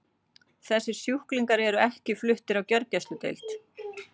Þessir sjúklingar eru ekki fluttir á gjörgæsludeild.